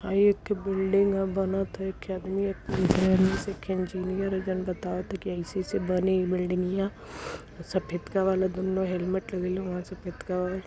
आ एक ठो बिल्डिंग ह। बनत ह एक्खे अदमी एक्खे इंजीनियर ह जोन बतावत ह कि अइसे - अइसे बनी इ बिल्डिंगिया सफेदका वाला दुन्नौ हेलमेट लगइले हवें सफेदका वाला --